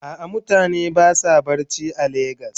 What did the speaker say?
A'a mutane basa barci are lagos.